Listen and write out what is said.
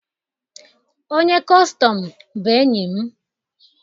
Onye kọstọm bụ enyi m